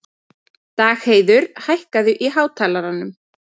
Dagheiður, hækkaðu í hátalaranum.